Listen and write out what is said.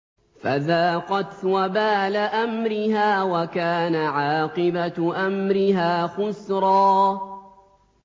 فَذَاقَتْ وَبَالَ أَمْرِهَا وَكَانَ عَاقِبَةُ أَمْرِهَا خُسْرًا